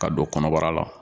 Ka don kɔnɔbara la